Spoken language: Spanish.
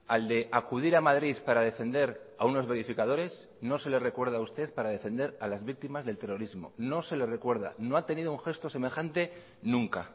al de acudir a madrid para defender a unos verificadores no se le recuerda a usted para defender a las víctimas del terrorismo no se le recuerda no ha tenido un gesto semejante nunca